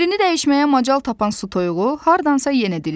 Yerini dəyişməyə macal tapan su toyuğu hardansa yenə dilləndi.